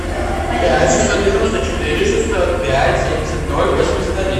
пять шестьсот девяносто четыре шестьсот пять семьдесят ноль восемьдесят один